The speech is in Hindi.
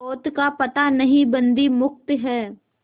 पोत का पता नहीं बंदी मुक्त हैं